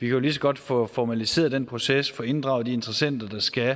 jo lige så godt få formaliseret den proces og få inddraget de interessenter der skal